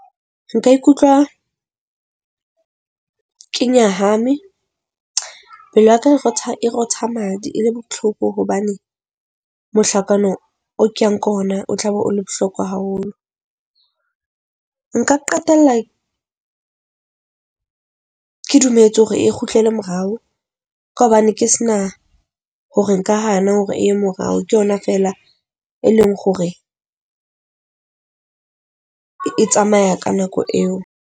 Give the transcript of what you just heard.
Nka ikutlwa ke nyahame, pelo ya ka e rotha e rotha madi e le botlhoko hobane. Mohlakano o ke yang ko ho ona o tla be o le bohlokwa haholo. Nka qetella ke dumetse hore e kgutlele morao ka hobane ke se na hore nka hana hore e morao. Ke yona feela, e leng hore e tsamaya ka nako eo.